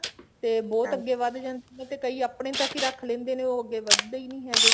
ਤੇ ਬਹੁਤ ਅੱਗੇ ਵੱਧ ਜਾਣਗੀਆਂ ਕਿਉਣੀ ਕਈ ਆਪਣੇ ਤੱਕ ਹੀ ਰੱਖ ਲੈਂਦੇ ਨੇ ਉਹ ਅੱਗੇ ਵਧਦੇ ਹੀ ਨਹੀਂ ਹੈਗੇ